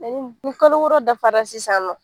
Kalo wɔɔrɔ dafara sisan nɔ